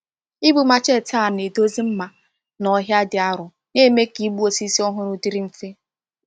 Ibu machete a na-edozi mma na ọhịa dị arọ na-eme ka ịkpụ osisi ọhụrụ dịrị mfe.